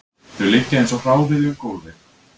Þau liggja eins og hráviði um gólfið